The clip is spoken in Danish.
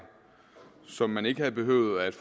som man ikke havde behøvet at